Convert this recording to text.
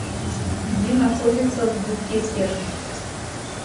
где находится вбукетерф